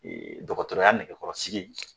Dɔkɔtɔrɔya nɛgɛkɔrɔsigi